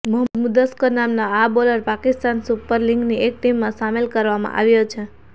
મોહમ્મદ મુદસ્સર નામના આ bowler Pakistan super લીગની એક ટીમમાં સામેલ કરવામાં આવ્યો છે